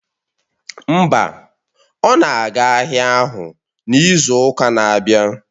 Mba, ọ na-aga ahịa ahụ n'izu ụka na-abịa